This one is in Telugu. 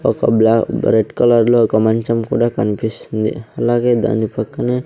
ఒక బ్లా రెడ్ కలర్ లో ఒక మంచం కూడా కన్పిస్సుంది అలాగే దాని పక్కనే --